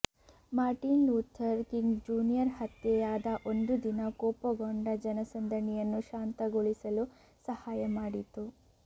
Martin Luther King junior ಹತ್ಯೆಯಾದ ಒಂದು ದಿನ ಕೋಪಗೊಂಡ ಜನಸಂದಣಿಯನ್ನು ಶಾಂತಗೊಳಿಸಲು ಸಹಾಯ ಮಾಡಿತು